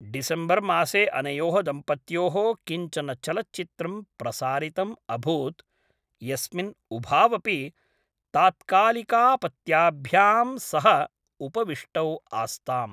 डिसम्बर् मासे अनयोः दम्पत्योः किञ्चन चलच्चित्रं प्रसारितम् अभूत् यस्मिन् उभावपि तात्कालिकापत्याभ्यां सह उपविष्टौ आस्ताम्।